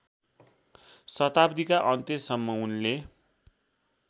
शताब्दीका अन्त्यसम्म उनले